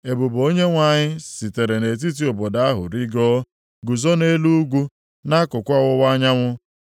Ebube Onyenwe anyị sitere nʼetiti obodo ahụ rigoo, guzo nʼelu ugwu, nʼakụkụ ọwụwa anyanwụ.